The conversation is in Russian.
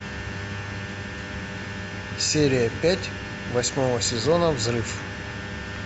серия пять восьмого сезона взрыв